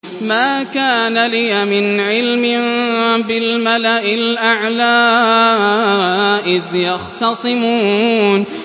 مَا كَانَ لِيَ مِنْ عِلْمٍ بِالْمَلَإِ الْأَعْلَىٰ إِذْ يَخْتَصِمُونَ